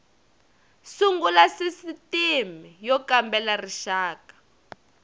sungula sisitimi y kambela rixaka